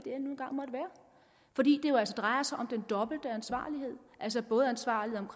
fordi det jo altså drejer sig om den dobbelte ansvarlighed altså både ansvarligheden